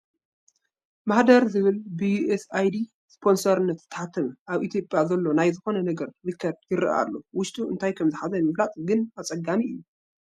ማህደር ዝብል ብ ዩኤስ ኣይዲ ስፖንሰርነት ዝተሓተመ ኣብ ኢትዮጵያ ዘሎ ናይ ዝኾነ ነገር ሪከርድ ይርአ ኣሎ፡፡ ውሽጡ እንታይ ከምዝሓዘ ንምፍላጥ ግን ኣፀጋሚ እዩ፡፡